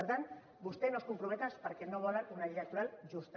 per tant vostès no s’hi comprometen perquè no volen una llei electoral justa